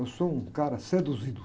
Eu sou um cara seduzido.